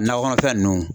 Nakɔ kɔnɔfɛn ninnu